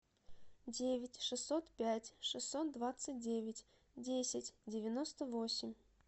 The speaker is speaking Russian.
девять шестьсот пять шестьсот двадцать девять десять девяносто восемь